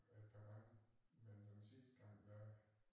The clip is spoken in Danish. Et par gange men den sidste gang der